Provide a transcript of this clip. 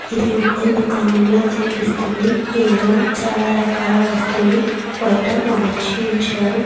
ఇది ఒక దుకాణంలా కనిపిస్తుంది. ఇందులో చాలా రకాల వస్తువులు బయట అమర్చి ఉంచారు.